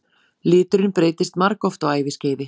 Liturinn breytist margoft á æviskeiði.